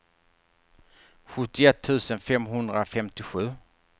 sjuttioett tusen femhundrafemtiosju